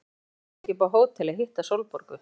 Af hverju fórstu ekki upp á hótel að hitta Sólborgu?